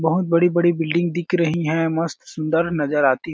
बहुत बड़ी-बड़ी बिल्डिंग दिख रही है मस्त सुंदर नजर आती है।